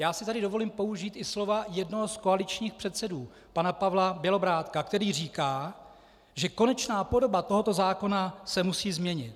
Já si tady dovolím použít i slova jednoho z koaličních předsedů, pana Pavla Bělobrádka, který říká, že konečná podoba tohoto zákona se musí změnit.